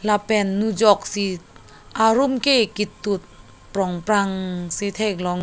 lapen nujok si arum ke ketut prong prang si theklong.